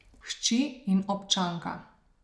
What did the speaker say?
Hči in občanka.